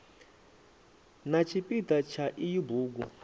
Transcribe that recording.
na tshipida tsha iyi bugu